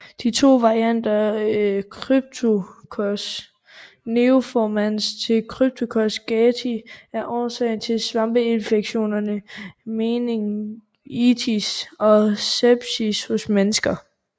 De to varianter Cryptococcus neoformans og Cryptococcus gatii er årsag til svampeinfektionerne meningitis og sepsis hos mennesker